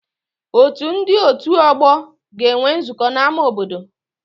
Otu ndị otu ọgbọ ga-enwe nzukọ n'ámá obodo